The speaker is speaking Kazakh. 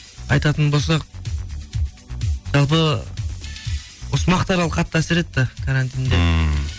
айтатын болсақ жалпы осы мақтарал қатты әсер етті карантинде ммм